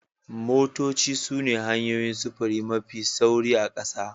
Motoci sune hanyoyin sufuri mafi sauri a ƙasa